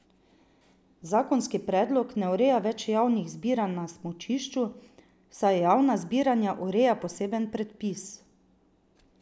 Zakonski predlog ne ureja več javnih zbiranj na smučišču, saj javna zbiranja ureja poseben predpis.